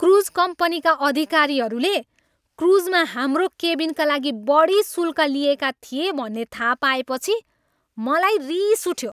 Cruise कम्पनीका अधिकारीहरूले क्रुजमा हाम्रो केबिनका लागि बढी शुल्क लिएका थिए भन्ने थाहा पाएपछि मलाई रिस उठ्यो।